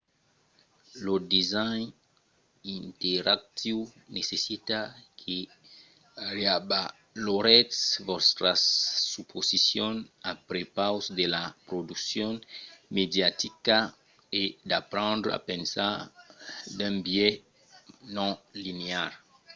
lo design interactiu necessita que reavaloretz vòstras suposicions a prepaus de la produccion mediatica e d’aprendre a pensar d’un biais non-linear